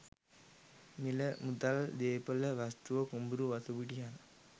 මිල මුදල්, දේපොළ වස්තුව, කුඹුරු වතුපිටි යන